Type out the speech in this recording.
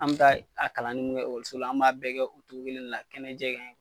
An bɛ taa a kalanin minnu kɛ ekɔliso la, an b'a bɛɛ kɛ o cogo kelenna kɛnɛjɛ kan yen.